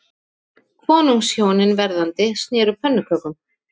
Konungshjónin verðandi sneru pönnukökum